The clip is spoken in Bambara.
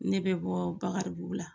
Ne bɛ bɔ Bakaribugu la